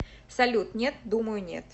салют нет думаю нет